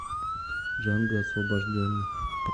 джанго освобожденный